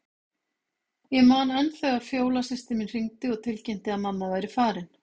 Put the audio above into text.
Ég man enn þegar Fjóla systir mín hringdi og tilkynnti að mamma væri farin.